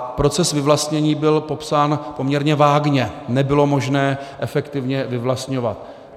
A proces vyvlastnění byl popsán poměrně vágně - nebylo možné efektivně vyvlastňovat.